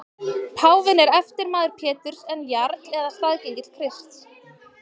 Páfinn er eftirmaður Péturs en jarl eða staðgengill Krists.